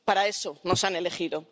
Para eso nos han elegido.